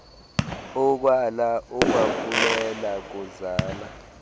ukwala ukwaphulela kuzala